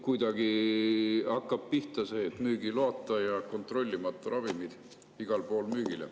Kuidagi hakkab pihta see, et müügiloata ja kontrollimata ravimid jõuavad igal pool müügile.